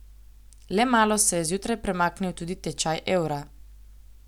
Le malo se je zjutraj premaknil tudi tečaj evra.